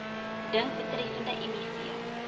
dink betreffende miv